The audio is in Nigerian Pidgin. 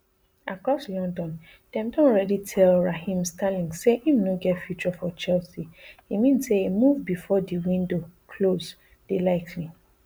across london dem don already tellraheem sterlingsay im no get future for chelsea e mean say a move bifor di window close dey likely